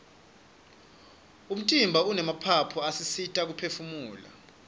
umtimba unemaphaphu asisita kuphefumula